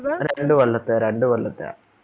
രണ്ട് കൊല്ലത്തെ രണ്ട് കൊല്ലത്തെ